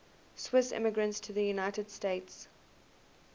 swiss immigrants to the united states